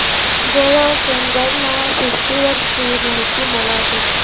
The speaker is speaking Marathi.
गोवा सनबर्न फेस्टिवल ची माहिती मला दे